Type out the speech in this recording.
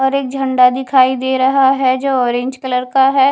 और एक झंडा दिखाई दे रहा है जो ओरेंज कलर का है।